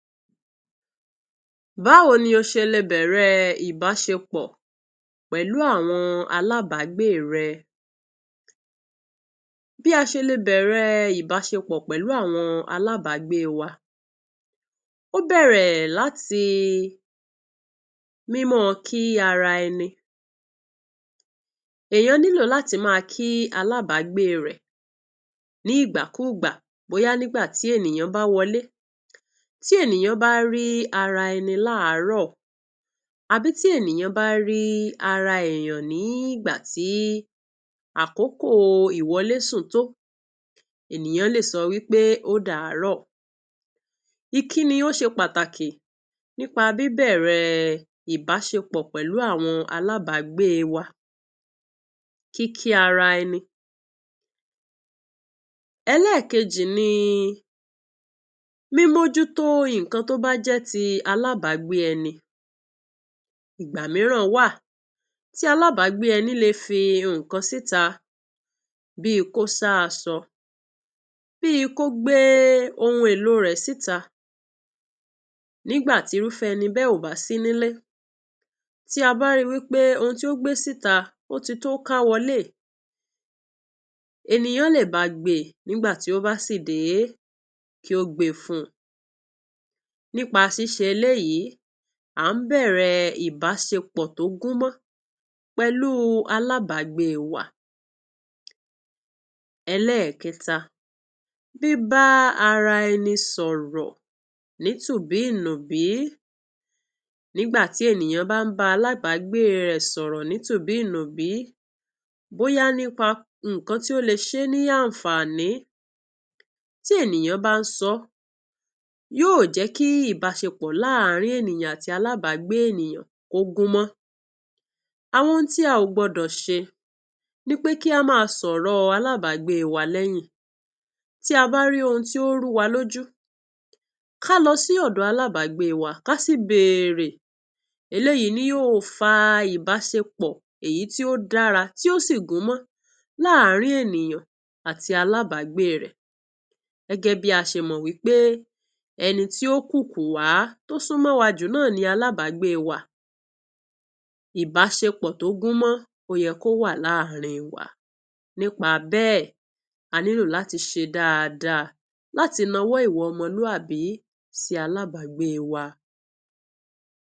Báwo ló ṣe lè bẹ.̀rẹ.̀ ìbáṣepọ.̀ pẹ.̀lú àwọn alábàgbẹ.́ rẹ? Bí a ṣe lè bẹ.̀rẹ.̀ ìbáṣepọ.̀ pẹ.̀lú àwọn alábàgbẹ.́ wa, ó bẹ.̀rẹ.̀ láti máa kí mímọ.̀ ara ẹni. Ẹ.̀ yàn ní lílo làti máa kí alábàgbẹ.́ rẹ nígbà kùgbà, bóyá nígbà tí ènìyàn bá wọlé, tí ènìyàn bá rí ara ẹni lárò, tàbí tí ènìyàn bá rí àkókò ìsùn, tó lè sọ wípé "odàrọ.̀ ." Ìkíni ó ṣe pàtàkì nípa bí a ṣe bẹ.̀rẹ.̀ ìbáṣepọ.̀ pẹ.̀lú àwọn alábàgbẹ.́ wa. Kíkí ara ẹni èkejì ni mímọ.̀ jú tó. Ìkan tó bẹ.̀ jẹ.́ alábàgbẹ.́ wa, ìgbà míràn wá tí alábàgbẹ.́ wa fìkan síta bí kò sá aṣọ, bí kò gbé ìkan èlò rẹ síta. Nígbà tí irúfẹ.́ ẹni náà ò bá sí nílé, tí a bá rí wípé ohun tí ó gbé síta ò tíì tó ká wọlé, ènìyàn lè bá a gbé. Nígbà tí ó bá padà dé, kí ó gbẹ.́fúnni, pẹ.̀lú pàsẹ.̀, ṣíṣe èyí á hàn bẹ.̀rẹ.̀ ìbáṣepọ.̀ tó gúnmọ.́ pẹ.̀lú alábàgbẹ.́ wa. Èlékèta, bí a bá ara ènìyàn sọ.̀ rọ.̀ nítubọ.̀ ìbìnú nígbà tí ènìyàn bá bá alábàgbẹ.́ rẹ sọ.̀ rọ.̀ ní títúnú bí ìbínú, bóyá nípa ìkan tó lè ṣẹé ní àǹfààní tí ènìyàn bá sọ.̀ yóò jẹ.́ kí ìbáṣepọ.̀ lárin ènìyàn àti alábàgbẹ.́ ènìyàn kọ.̀ gúnmọ.́. Àwọn ohun tí a ò gbọ.́ dọ.̀ ṣe, nípé kí a má sọ.̀ rọ.̀ alábàgbẹ.́ wa lẹ.́yìn, tí a bá rí ohun tó rù wá lójú, ká lọ sí ọ.̀ dọ.̀ alábàgbẹ.́ wa, ká síbẹ.̀rẹ.̀. Èyí yóò fà ìbáṣepọ.̀ tó dára, tí yóò sì gúnmọ.́ lárin ènìyàn àti alábàgbẹ.́ rẹ. Gẹ.́gẹ.́ bí a ṣe mọ.̀, wípé "ènì tí yóò kúùkù wá tó sún mọ.́ wa jù ni alábàgbẹ.́ wa." Ìbáṣepọ.̀ tó gúnmọ.́ wa ní àárín wa ni. Nítorí náà, a ní lò láti ṣe dáadáa, láti nà owó ọmọ lù, àbí sí alábàgbẹ.́ wa.